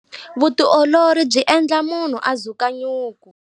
Vutiolori byi endla munhu a dzuka nyuku.